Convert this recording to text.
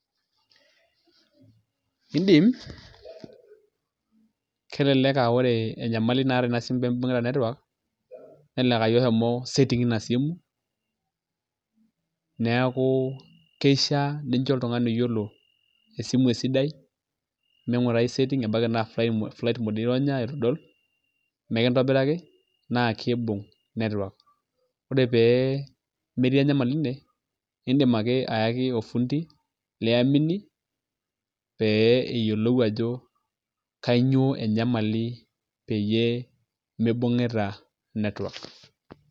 Idim elelek aaore enyamali naata in simu peemibungita network nelelek aayie oshomo [cs[setting ina simu neeku kishaa ninjo oltungani oyiolo esimu esidai minkurai ebaiki naa flight mode ironya itudol mikintobiraki naa kiibunk network. Ore pee metii enyamali ine iidim ake ayaki ofundi liamini, pee eyiolou ajo kanyio enyamali peyie mibunkita network